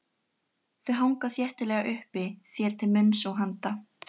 Þau hanga þéttlega uppi þér til munns og handa.